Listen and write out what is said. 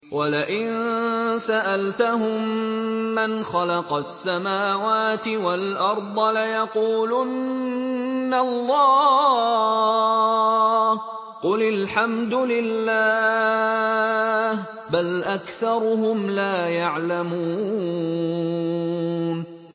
وَلَئِن سَأَلْتَهُم مَّنْ خَلَقَ السَّمَاوَاتِ وَالْأَرْضَ لَيَقُولُنَّ اللَّهُ ۚ قُلِ الْحَمْدُ لِلَّهِ ۚ بَلْ أَكْثَرُهُمْ لَا يَعْلَمُونَ